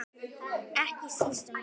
Ekki síst um vetur.